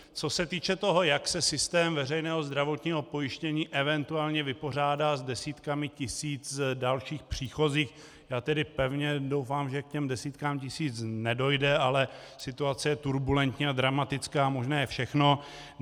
Co se týče toho, jak se systém veřejného zdravotního pojištění eventuálně vypořádá s desítkami tisíc dalších příchozích, já tedy pevně doufám, že k těm desítkám tisíc nedojde, ale situace je turbulentní a dramatická a možné je všechno.